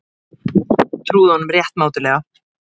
Trúðu honum rétt mátulega.